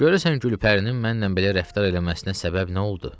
Görəsən Gülpərinin mənlə belə rəftar eləməsinə səbəb nə oldu?